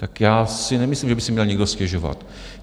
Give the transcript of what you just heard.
Tak já si nemyslím, že by si měl někdo stěžovat.